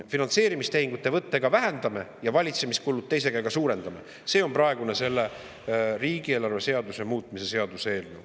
Finantseerimistehingute võttega vähendame, aga valitsemiskulusid teise käega suurendame – see on praegune selle riigieelarve seaduse muutmise seaduse eelnõu.